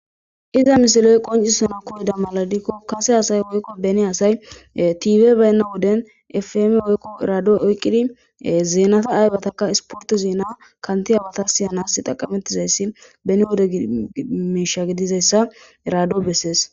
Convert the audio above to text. iza misileyi qoncissana mala gidiko kasseassayi woyiko beni assayi tv bayina wodeni fm woy redio oyikid zenata ayibaka isipotrte zenata siyanasi xaqametidayis beni wode misha gidizayisa redio besesi